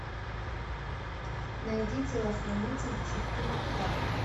найди телохранитель четырка